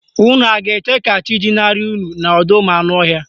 Unu a ga-eche ka chi jinarị unu n'ọdọụmụanụọhịa?